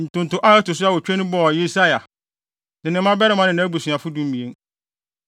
Ntonto a ɛto so awotwe no bɔɔ Yesaia, ne ne mmabarima ne nʼabusuafo (12)